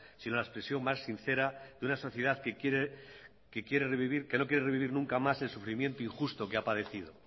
sino la expresión más sincera de una sociedad que no quiere revivir nunca más el sufrimiento injusto que ha padecido